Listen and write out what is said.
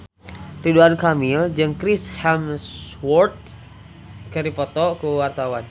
Ridwan Kamil jeung Chris Hemsworth keur dipoto ku wartawan